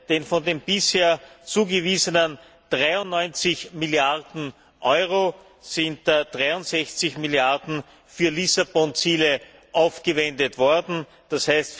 denn von den bisher zugewiesenen 93 Milliarden Euro sind 63 Milliarden für Lissabon Ziele aufgewendet worden, d.